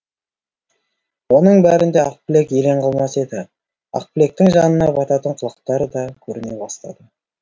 оның бәрін де ақбілек елең қылмас еді ақбілектің жанына бататын қылықтары да көріне бастады